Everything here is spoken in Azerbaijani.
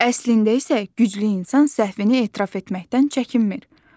Əslində isə güclü insan səhvini etiraf etməkdən çəkinmir.